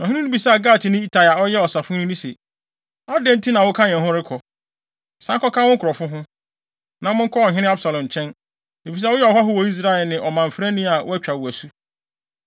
Na ɔhene no bisaa Gatni Itai a ɔyɛ ɔsafohene no se, “Adɛn nti na woka yɛn ho rekɔ? San kɔka wo nkurɔfo ho, na monkɔ ɔhene Absalom nkyɛn, efisɛ woyɛ ɔhɔho wɔ Israel ne ɔmamfrani a wɔatwa wo asu.